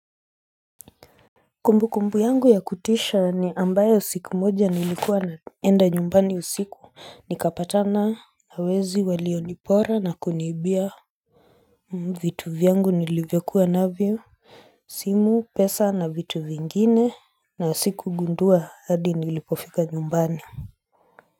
Kumbu kumbu yangu ya kutisha ni ambayo siku moja nilikuwa naenda nyumbani usiku nikapatana na wezi walionipora na kuniibia vitu vyangu nilivyokua navyo simu pesa na vitu vingine na sikugundua hadi nilipofika nyumbani.